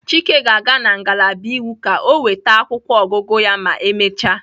Chike ga-aga na ngalaba iwu ka o nweta akwụkwọ ọgụgụ ya ma emechaa.